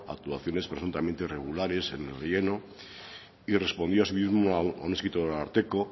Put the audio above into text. actuaciones presuntamente irregulares en el relleno y respondió asimismo a un escrito del ararteko